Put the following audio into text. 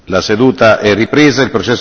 La seduta è ripresa.